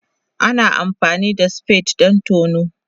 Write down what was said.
Ana amfani da spade don tono.